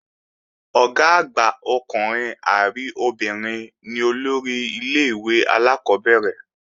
Ọ̀gá àgbà ọkùnrin àbí obìnrin ni olórí ilé-ìwé alákọ́bẹ̀rẹ̀